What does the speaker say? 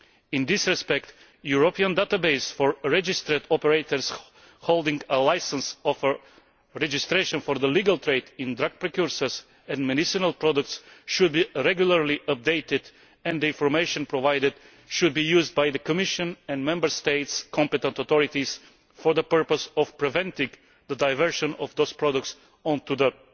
In this respect, a European database for registered operators holding a licence of registration for the legal trade in drug precursors and medicinal products should be regularly updated, and the information provided should be used by the Commission and by the Member States' competent authorities for the purpose of preventing the diversion of those products onto the